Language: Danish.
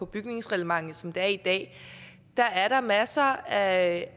bygningsreglementet som det er i dag er masser af